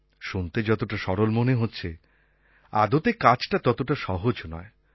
শুনতে যতটা সরল মনে হচ্ছে আদতে কাজটা ততটা সহজ নয়